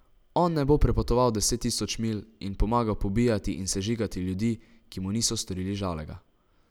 On ne bo prepotoval deset tisoč milj in pomagal pobijati in sežigati ljudi, ki mu niso storili žalega.